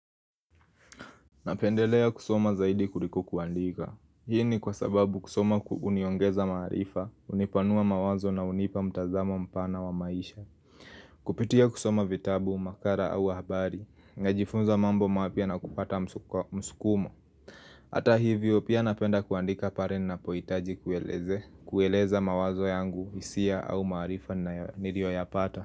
Napendelea kusoma zaidi kuliko kuandika. Hii ni kwa sababu kusoma kuhuniongeza maarifa kunipanua mawazo na hunipa mtazamo mpana wa maisha Kupitia kusoma vitabu, makala au habari Ngajifunza mambo mapya na kupata msukumo hata hivyo pia napenda kuandika pale ninapohitaji kuelezea kueleza mawazo yangu hisia au maarifa niliyoyapata.